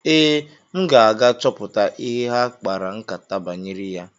Ee, m ga-aga chọpụta ihe ha kpara nkátá banyere ya.